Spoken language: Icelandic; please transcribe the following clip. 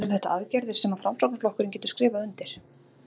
Eru þetta aðgerðir sem að Framsóknarflokkurinn getur skrifað undir?